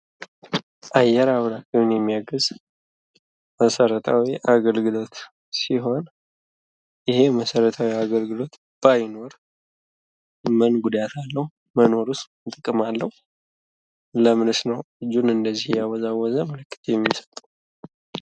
አየር አብራሪውን የሚያግዝ መሠረታዊ አገልግሎት ሲሆን ይሄ መሠረታዊ አገልግሎት ባይኖር ምን ጉዳት አለው? መኖሩስ ምን ጥቅም አለው? ለምንስ ነው እጁን እንደዚህ እያወዛወዘ ምልክት የሚሰጠው?